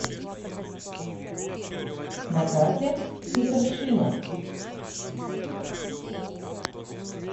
на карте супер шина